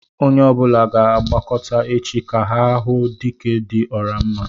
Onye ọbula ga-agbakọtá échi, ka ha hụ "Dike dị ọra mma"